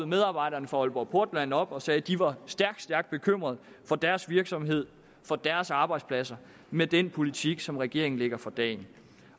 medarbejderne fra aalborg portland troppede op og sagde de var stærkt stærkt bekymrede for deres virksomhed for deres arbejdspladser med den politik som regeringen lægger for dagen